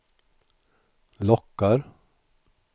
lockar